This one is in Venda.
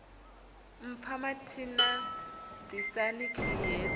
mpfa mathina ḓisani khiyi hedzi